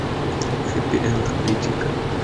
хэппи энд найди ка